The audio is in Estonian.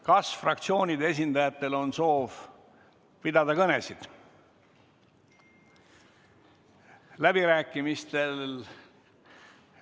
Kas fraktsioonide esindajatel on soov pidada kõnesid?